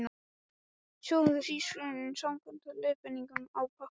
Sjóðið hrísgrjónin samkvæmt leiðbeiningum á pakkanum.